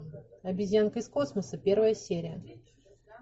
обезьянка из космоса первая серия